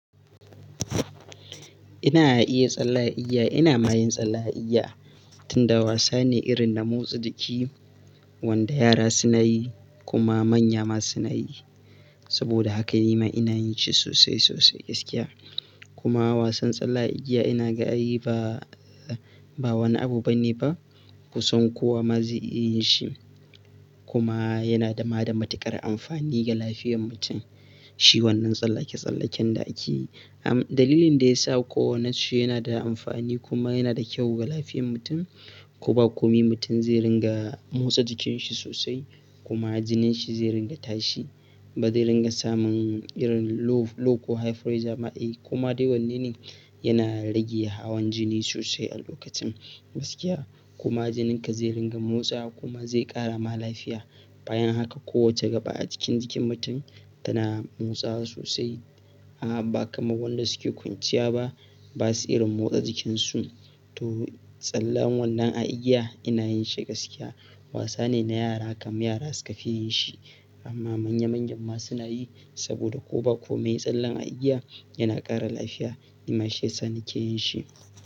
Ina iya tsalle a igiya, ina ma yin tsalle a igiya, tunda wasa ne irin na motsa jiki wanda yara suna yi kuma manya ma suna yi. Saboda haka ni ma ina yin shi sosai sosai gaskiya. Kuma wasan tsalle a igiya ina ga ai ba, ba wani abu bane ba, kusan kowa ma zai iya yin shi. Kuma, yana dama da matuƙar amfani ga lafiyar mutum. Shi wannan tsallake-tsallaken da ake yi. Am-dalilin da ya sa kowa, nace yana da amfani kuma yana da kyau ga lafiyar mutum, ko ba komai mutum zai ringa motsa jikinshi sosai, kuma jinin shi zai ringa tashi, ba zai ringa samun irin low, low ko high pressure ma ai, koma dai wanne ne, yana rage hawan jini sosai a lokacin gaskiya, kuma jininka zai ringa motsawa kuma zai ƙara ma lafiya. Bayan haka kowace gaba a jikin, jikin mutum tana motsawa sosai. Na'am, ba kamar wanda suke kwanciya ba, ba su irin motsa jikinsu. To, tsallen wannan a igiya ina yin shi gaskiya. Wasa ne na yara kam, yara suka fi yin shi, amma manya manyan ma suna yi, saboda ko ba komai tsallen a igiya yana ƙara lafiya. Ni ma shiyasa nike yin shi.